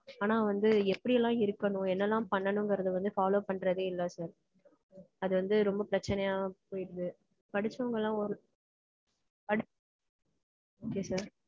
ஆனா வந்து எப்படியெல்லாம் இருக்கனும் என்னலாம் பண்ணனுங்கறது வந்து follow பண்றதே இல்ல sir. அது வந்து ரொம்ப பிரச்சினையா போயிருது. படிச்சவங்கலாம் ஒரு